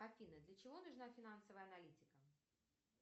афина для чего нужна финансовая аналитика